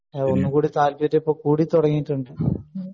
അഹ് ഒന്നുകൂടി താല്പര്യം ഇപ്പൊ കൂടി തുടങ്ങീട്ടുണ്ട്